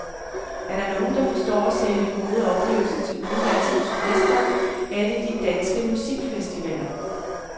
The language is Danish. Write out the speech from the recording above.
Er der nogen, der forstår at sælge gode oplevelser til udenlandske turister, er det de danske musikfestivaler.